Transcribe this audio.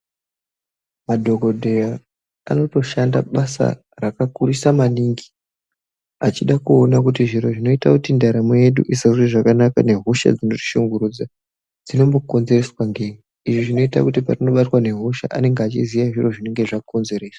Madhokodheya anotoshanda kubasa rakakura maningi achida kuona kuti zviro zvinoita ndaramo yedu kuisa zviro zvedu zvakanaka kuisa hosha dzinoshungurudza dzinombokonzereswa nei izvi zvinoita patinobatwa nehosha anenge achiziva zvinenge zvakonzeresa.